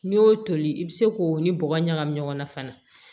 N'i y'o toli i bɛ se k'o ni bɔgɔ ɲagami ɲɔgɔn na fana